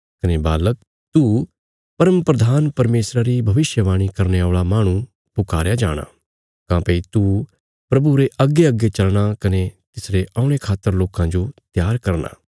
कने बालक तू परमप्रधान परमेशरा री भविष्यवाणी करने औल़ा माहणु पुकारया जाणा काँह्भई तू प्रभुरे अग्गेअग्गे चलना कने तिसरे औणे खातर लोकां जो त्यार करना